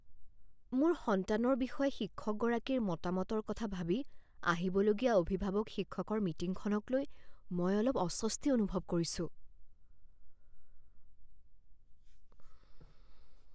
মোৰ সন্তানৰ বিষয়ে শিক্ষকগৰাকীৰ মতামতৰ কথা ভাবি আহিবলগীয়া অভিভাৱক শিক্ষকৰ মিটিঙখনকলৈ মই অলপ অস্বস্তি অনুভৱ কৰিছোঁ।